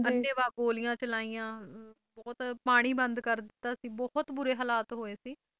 ਅੰਨ੍ਹੇ ਵਾਹ ਗੋਲੀਆਂ ਚਲਾਈਆਂ ਬਹੁਤ ਪਾਣੀ ਬੰਦ ਕਰ ਦਿੱਤਾ ਸੀ ਬਹੁਤ ਬੁਰੇ ਹਲਾਤ ਹੋਏ ਸੀ